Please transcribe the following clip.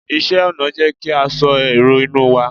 iṣẹ ọnà n jé kí a so èrò inú wa